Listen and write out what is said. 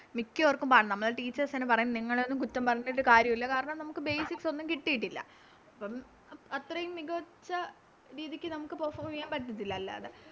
മിക്കവർക്കും എന്ന് വെച്ചാല് Teachers തന്നെ പറയും നിങ്ങളെയൊന്നും കുറ്റം പറഞ്ഞിട്ട് കാര്യവില്ല കാരണം നമുക്ക് Basic ഒന്നും കിട്ടീട്ടില്ല അപ്പോം അത്രേം മികച്ച രീതിക്ക് നമുക്ക് Perform ചെയ്യാൻ പറ്റത്തില്ല അല്ലാതെ